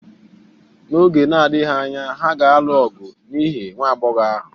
N’oge na-adịghị anya, ha ga-alụ ọgụ n’ihi nwa agbọghọ ahụ